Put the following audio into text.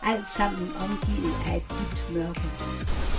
Altsammen omgivet af et dybt mørke.